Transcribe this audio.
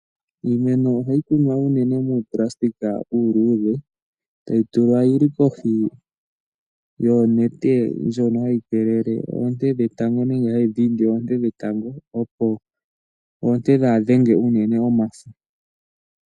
Iimeno oha yi kunwa unene yi li muuplastika uuluudhe, ta yi tulwa yi li kohi yonete ndjono ha yi kelele oonte dhetango, nenge ha yi dhindi oonete dhetango, opo oonte dhaa ha dhenge unene omafo.